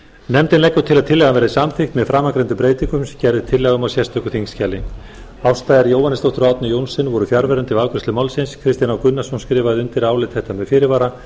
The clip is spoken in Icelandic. nefndin leggur til að tillagan verði samþykkt með framangreindum breytingum sem gerð er tillaga um í sérstöku þingskjali ásta r jóhannesdóttir og árni johnsen voru fjarverandi við afgreiðslu málsins kristinn h gunnarsson skrifaði undir álit þetta með fyrirvara